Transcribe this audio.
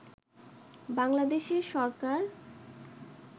বাংলাদেশের সরকার